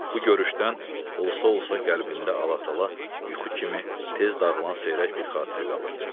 Bu görüşdən olsa-olsa qəlbində Allah-tala yuxu kimi tez dağılan seyrək bir xatirə qalır.